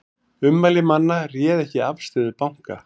Ummæli manna réðu ekki afstöðu banka